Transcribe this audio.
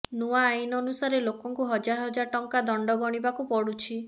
ନୂଆ ଆଇନ ଅନୁସାରେ ଲୋକଙ୍କୁ ହଜାର ହଜାର ଟଙ୍କା ତଣ୍ଡ ଗଣିବାକୁ ପଡୁଛି